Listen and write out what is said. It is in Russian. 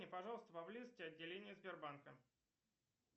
пожалуйста поблизости отделения сбербанка